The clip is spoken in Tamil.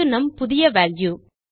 இது நம் புதிய வால்யூ